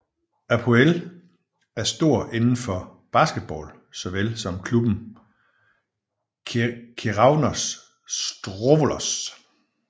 Apoel er stor inden for basketball såvel som klubben Keravnos Strovolos